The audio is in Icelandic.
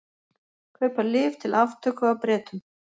Kaupa lyf til aftöku af Bretum